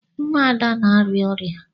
Nwa Ada na-arịa ọria.